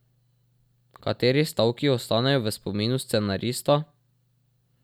Kateri stavki ostanejo v spominu scenarista?